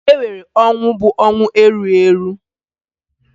E nwere ọnwụ bụ ọnwụ erughi erughi